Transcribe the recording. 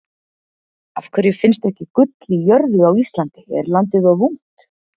Af hverju finnst ekki gull í jörðu á Íslandi, er landið of ungt?